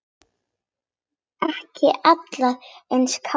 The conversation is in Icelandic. Ekki allir í einni kássu!